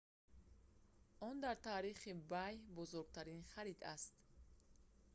он дар таърихи ebay бузургтарин харид аст